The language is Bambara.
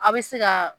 A bɛ se ka